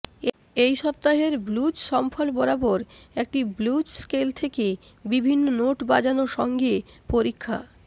এই সপ্তাহের blues shuffle বরাবর একটি ব্লুজ স্কেল থেকে বিভিন্ন নোট বাজানো সঙ্গে পরীক্ষা